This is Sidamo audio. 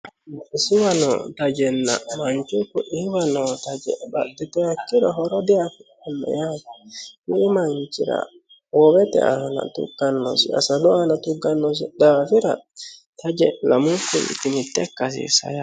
Mini manchira hoowete aana woyi asalu aana tuqqanosi daafira Taje lamunkuti mitte ikka hasiissano yaate.